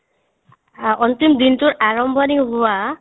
আ অন্তিম দিনটোৰ আৰম্ভণি হোৱা